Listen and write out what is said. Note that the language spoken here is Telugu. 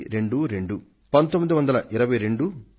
అది ఈ సరికి మీ స్మృతిలో ఒక భాగంగా అయిపోయింది